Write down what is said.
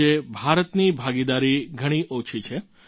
આજે ભારતની ભાગીદારી ઘણી ઓછી છે